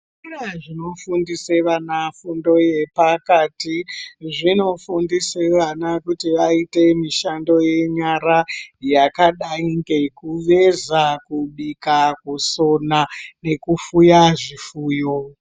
Zvikora zvinofundisa vana fundo yepakati. Zvinofundise vana kuti vaite mishando yenyara yakadai ngekuveza, kubika, kusona nekufuya zvifuyo.